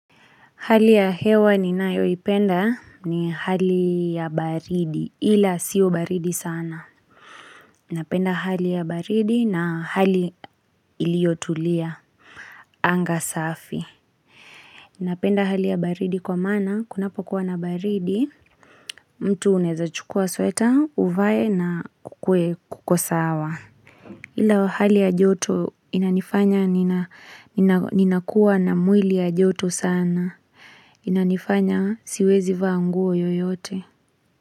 Hali ya hewa ninayoipenda ni hali ya baridi, ila siyo baridi sana. Napenda hali ya baridi na hali iliotulia, anga safi. Napenda hali ya baridi kwa maana, kunapokuwa na baridi, mtu uneza chukua sweta, uvae na kukuwe kuko sawa. Ila wahali ya joto inanifanya ninakuwa na mwili ya joto sana. Inanifanya siwezi vaa nguo yoyote.